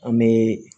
An bɛ